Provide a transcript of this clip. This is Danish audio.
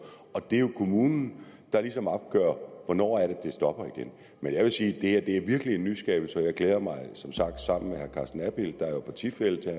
og det er jo kommunen der ligesom opgør hvornår det stopper igen men jeg vil sige at det her virkelig er en nyskabelse og jeg glæder mig som sagt sammen med herre carsten abild der jo er partifælle til